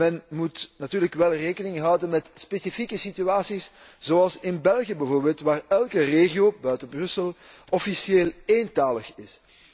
Men moet natuurlijk wel rekening houden met specifieke situaties, zoals in België bijvoorbeeld, waar elke regio behalve Brussel officieel ééntalig is.